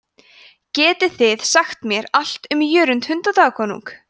geti þið sagt mér allt um jörund hundadagakonung